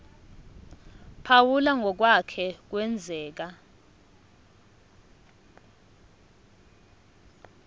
phawula ngokwake kwenzeka